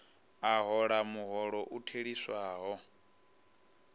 a hola muholo u theliswaho